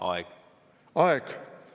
Aeg?